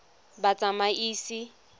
batsamaisi